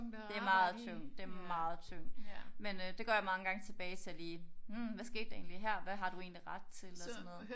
Det meget tungt det meget tungt men øh det går jeg mange tilbage til lige hm hvad skete der egentlig her hvad har du egentlig ret til og sådan noget